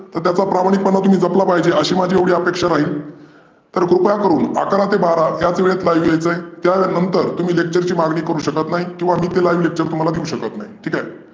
तर त्याचा तुम्ही प्रामाणिकपणा तुम्ही जपला पाहिजे अशी माझी एवढी अपेक्षा राहील. तर कृपया करूण अकरा ते बारा याच वेळेत live यायचं आहे. त्यानंतर तुम्ही lecture ची मागणी करू शकत नाही. किंवा मी काय तुम्हाला live lecture देऊ शकत नाही. ठिक आहे?